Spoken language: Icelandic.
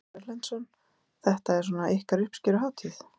Ásgeir Erlendsson: Þetta er svona ykkar uppskeruhátíð?